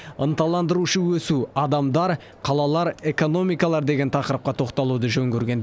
ынталандырушы өсу адамдар қалалар экономикалар деген тақырыпқа тоқталуды жөн көрген